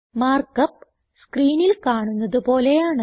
mark up സ്ക്രീനിൽ കാണുന്നത് പോലെയാണ്